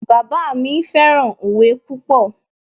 Bàbá mi fẹ́ràn òwe púpọ̀